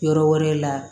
Yɔrɔ wɛrɛ la